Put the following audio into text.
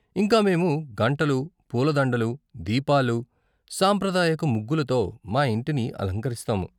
ఇంకా మేము గంటలు, పూల దండలు, దీపాలు, సాంప్రదాయక ముగ్గులతో మా ఇంటిని అలంకరిస్తాము.